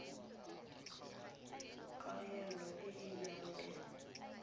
kaelo e e nang le